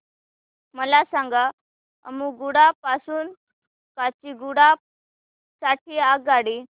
मला सांगा अम्मुगुडा पासून काचीगुडा साठी आगगाडी